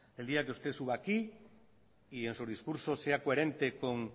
el día que usted suba aquí y en sus discursos sea coherente con